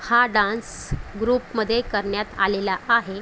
हा dance group मध्ये करण्यात आलेला आहे.